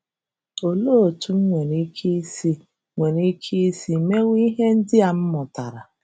Olee otú m nwere ike isi nwere ike isi mewe ihe ndị a m mụtara?